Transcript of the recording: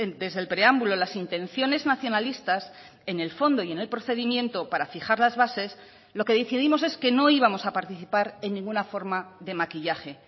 desde el preámbulo las intenciones nacionalistas en el fondo y en el procedimiento para fijar las bases lo que decidimos es que no íbamos a participar en ninguna forma de maquillaje